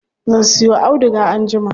Zan siyo auduga anjima.